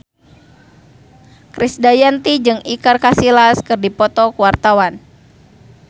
Krisdayanti jeung Iker Casillas keur dipoto ku wartawan